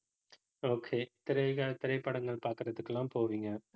okay திரைக்காக, திரைப்படங்கள் பாக்குறதுக்கு எல்லாம் போவீங்க